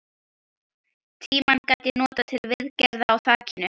Tímann gat ég notað til viðgerða á þakinu.